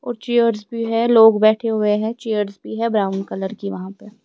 और चेयर्स भी है लोग बैठे हुए हैं चेयर्स भी है ब्राउन कलर की वहां पे ।